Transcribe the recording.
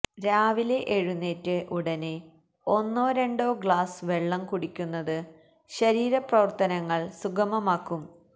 രാവിലെ എഴുന്നേറ്റ ഉടന് ഒന്നോ രണ്ടോ ഗ്ലാസ് വെള്ളം കുടിക്കുന്നത് ശരീരപ്രവര്ത്തനങ്ങള് സുഗമമാക്കും